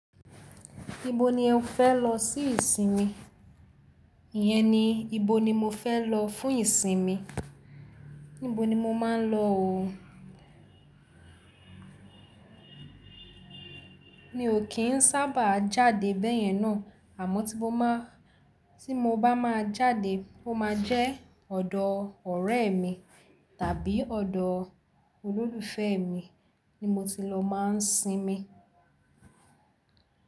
Ibo ni ẹ̀ ń fẹ́ lọ sí ìsinmi? Iyẹn ni ibo ni mo fẹ́ lọ fún ìsinmi. Níbo ni mo máa ń lọ ò o. Mi ò kí ń sábà jáde bẹ́yẹn náà. Àmọ́ tí mo ma, tí mo bá máa jáde, ó máa jẹ́ ọ̀dọ̀ ọ̀rẹ́ mi tàbí ọ̀dọ̀ olólùfẹ́ mi ni mo ti lọ máa ń sinmi.